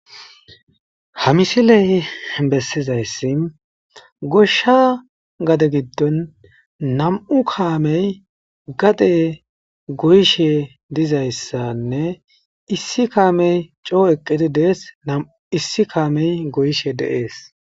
ha misiley bessizayssi goshsha gade giddon nam7u kaamey gade goyishe dizayssanne issi kaamey coo eqqidi dees nam7u issi kaamey goyishe deees